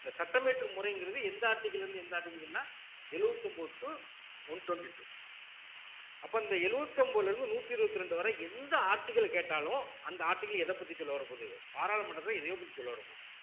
இந்த சட்டம் இயற்றும் முறைங்கிறது எந்த article ல இருந்து எந்த article ன்னா எழுபத்தி ஒன்பது to one twenty-two அப்போ அந்த எழுபத்தி ஒன்பதுல இருந்து நூத்தி இருபத்தி ரெண்டு வரை எந்த article கேட்டாலும் அந்த article எதப்பத்தி சொல்ல வரப்போகுது பாராளுமன்றத்தில எதையோ பத்தி சொல்ல வரப்போகுது